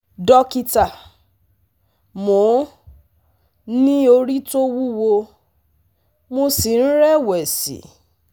Dókítà, mo ní orí tó wúwo, mo sì ń rẹ̀wẹ̀sì